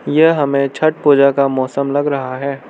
यह हमें छठ पूजा का मौसम लग रहा है।